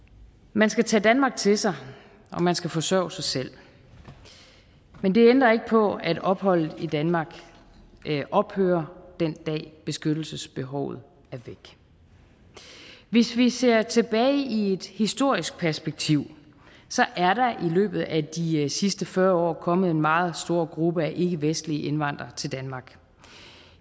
man skal tage danmark til sig og man skal forsørge sig selv men det ændrer ikke på at opholdet i danmark ophører den dag beskyttelsesbehovet er væk hvis vi ser tilbage i et historisk perspektiv så er der i løbet af de sidste fyrre år kommet en meget stor gruppe af ikkevestlige indvandrere til danmark